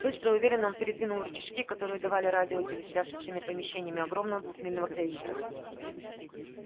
быстро и уверенно он передвинул рычажки которые давали радио и телесвязь со всеми помещениями огромного двухмильного крейсера